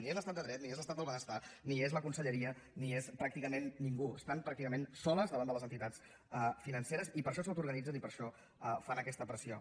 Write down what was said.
ni hi és l’estat de dret ni hi és l’estat del benestar ni hi és la conselleria ni hi és pràcticament ningú estan pràcticament soles davant de les entitats financeres i per això s’autoorganitzen i per això fan aquesta pressió